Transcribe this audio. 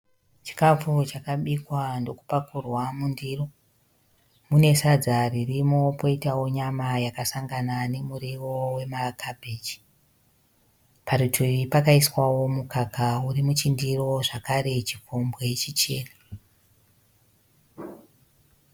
Chikafu chakabikwa ndokupakurwa mundiro. Mune sadza ririmo poitawo nyama yakasangana nemuriwo wema kabheji. Parutivi pakaiswawo mukaka uri muchindiro zvakare chikombwe chichena.